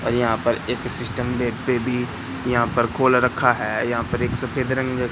यहां पर एक सिस्टम देखते भी यहां पर खोल रखा है यहां पर एक सफेद रंग--